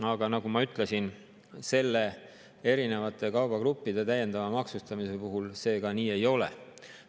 Aga nagu ma ütlesin, erinevate kaubagruppide täiendava maksustamise puhul see nii ei ole.